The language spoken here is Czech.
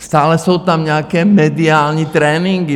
Stále jsou tam nějaké mediální tréninky.